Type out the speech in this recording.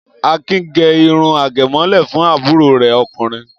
Akin gẹ irun àgẹ̀mọ́lẹ̀ fún àbúrò rẹ̀ ọkùnrin?